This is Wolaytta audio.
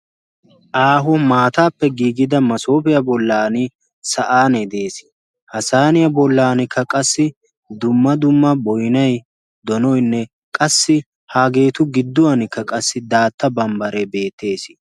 aaho maataappe giigida masoofiyaa bollan sa'aanee de'ees. ha saaniyaa bollankka qassi dumma dumma boynay donoynne qassi haageetu gidduwankka qassi daatta bambbare beettees.